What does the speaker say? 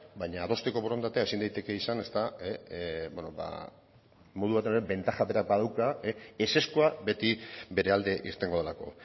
baina adosteko borondatea ezin daiteke izan beno ba modu batean bentaja berak badauka ezezkoa beti bere alde irtengo delako